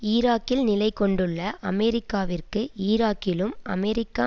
ஈராக்கில் நிலை கொண்டுள்ள அமெரிக்காவிற்கு ஈராக்கிலும் அமெரிக்க